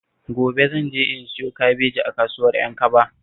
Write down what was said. Gobe zan je in siyo kabeji a kasuwar Ƴankaba